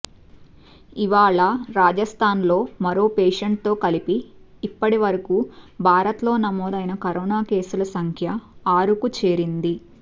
ఇవాళ రాజస్థాన్లో మరో పేషెంట్తో కలిపి ఇప్పటి వరకు భారత్లో నమోదైన కరోనా కేసుల సంఖ్య ఆరుకు చేరింది